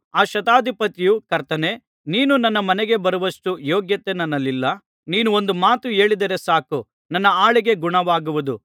ಆ ಶತಾಧಿಪತಿಯು ಕರ್ತನೇ ನೀನು ನನ್ನ ಮನೆಗೆ ಬರುವಷ್ಟು ಯೋಗ್ಯತೆ ನನ್ನಲ್ಲಿಲ್ಲ ನೀನು ಒಂದು ಮಾತು ಹೇಳಿದರೆ ಸಾಕು ನನ್ನ ಆಳಿಗೆ ಗುಣವಾಗುವುದು